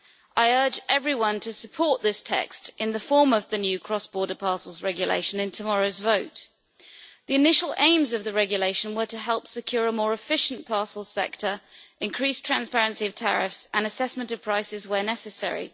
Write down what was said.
I urge everyone to support this text in the form of the new cross border parcels regulation in tomorrow's vote. The initial aims of the regulation were to help secure a more efficient parcel sector, increase transparency of tariffs, and assess prices where necessary.